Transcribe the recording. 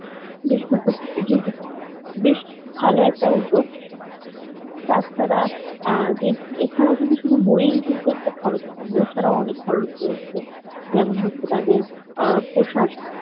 বেশ ভালো একটা উদ্যোগ তা ছাড়া যে এছাড়াও কিন্তু শুধু বই একটা খরচ কম। বই ছাড়া অনেক খরচ রয়েছে যেমন হচ্ছে তাদের পোশাক